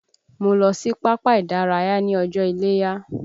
Mo lọ sí pápá ìdárayá ní ọjọ́ iléya